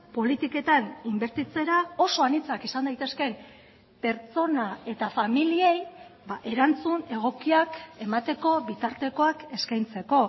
politiketan inbertitzera oso anitzak izan daitezkeen pertsona eta familiei erantzun egokiak emateko bitartekoak eskaintzeko